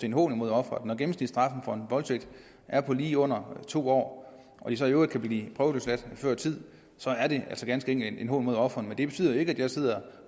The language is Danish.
en hån mod ofrene når gennemsnitsstraffen for en voldtægt er på lige under to år og man så i øvrigt kan blive prøveløsladt før tid så er det altså ganske enkelt en hån mod ofrene men det betyder jo ikke at jeg sidder